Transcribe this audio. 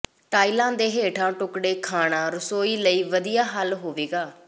tile ਦੇ ਹੇਠਾਂ ਟੁਕੜੇ ਖਾਣਾ ਰਸੋਈ ਲਈ ਵਧੀਆ ਹੱਲ ਹੋਵੇਗਾ